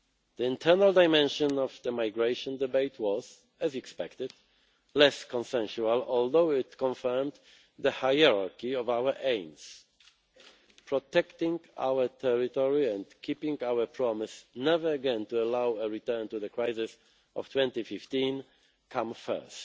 The internal dimension of the migration debate was, as expected, less consensual, although it confirmed the hierarchy of our aims protecting our territory and keeping our promise never again to allow a return to the crisis of 2015 come first.